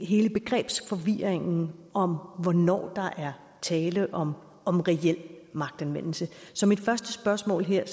hele begrebsforvirringen om hvornår der er tale om om reel magtanvendelse så mit første spørgsmål her